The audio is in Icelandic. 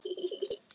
Tökum Sting næst.